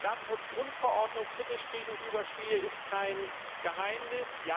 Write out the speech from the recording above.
Dass ich der Datenschutzgrundverordnung kritisch gegenüberstehe, ist kein Geheimnis.